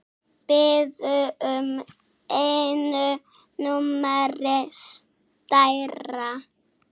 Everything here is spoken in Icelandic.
Biður um einu númeri stærra.